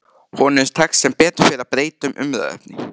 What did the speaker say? Honum tekst sem betur fer að breyta um umræðuefni.